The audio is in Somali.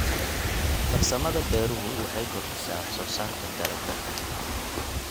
Farsamada beeruhu waxay kordhisaa wax soo saarka dalagga.